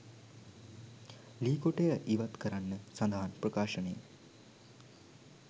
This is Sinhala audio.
ලී කොටය ඉවත් කරන්න සදහන් ප්‍රකාශනය.